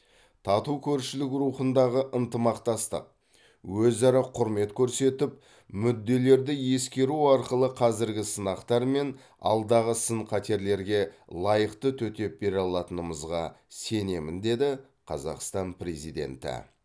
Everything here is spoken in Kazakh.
тату көршілік рухындағы ынтымақтастық өзара құрмет көрсетіп мүдделерді ескеру арқылы қазіргі сынақтар мен алдағы сын қатерлерге лайықты төтеп бере алатынымызға сенемін деді қазақстан президенті